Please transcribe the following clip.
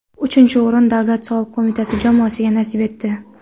Uchinchi o‘rin Davlat soliq qo‘mitasi jamoasiga nasib etdi.